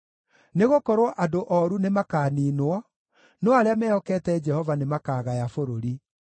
Nĩgũkorwo andũ ooru nĩmakaniinwo, no arĩa mehokete Jehova nĩmakagaya bũrũri.